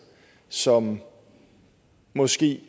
som måske